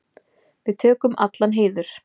Við tökum allan heiður.